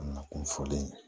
Na kun fɔlen